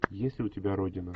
есть ли у тебя родина